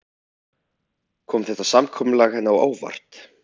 Kom þetta samkomulag henni á óvart?